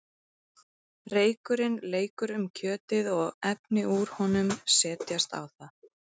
reykurinn leikur um kjötið og efni úr honum setjast á það